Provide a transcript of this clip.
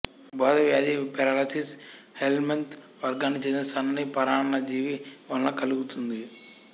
బోదవ్యాధి filariasis helminth వర్గానికి చెందిన సన్నని పరాన్నజీవి వలన కలుగుతుంది